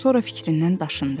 Sonra fikrindən daşındı.